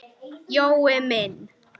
Jói minn.